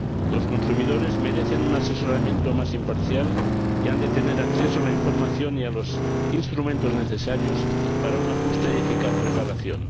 Los consumidores merecen un asesoramiento más imparcial y han de tener acceso a la información y a los instrumentos necesarios para una justa y eficaz reparación.